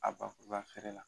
A bakurubafeere la